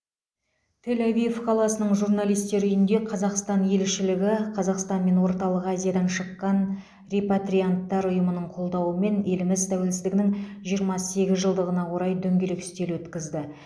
тель авив қаласының журналистер үйінде қазақстан елшілігі қазақстан мен орталық азиядан шыққан репатрианттар ұйымының қолдауымен еліміз тәуелсіздігінің жиырма сегіз жылдығына орай дөңгелек үстел өткізді